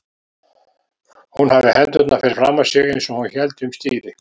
Hún hafði hendurnar fyrir framan sig eins og hún héldi um stýri.